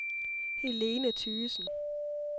Helene Thygesen